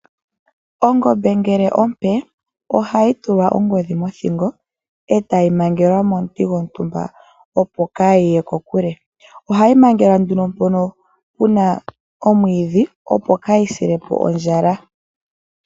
Ongombe ngele ompe ohayi tulwa ongodhi mothingo e tayi mangelwa momuti gwontumba opo kaayiye kokule. Ohayi mangelwa nduno mpono puna omwiidhi opo kaayi sile po ondjala.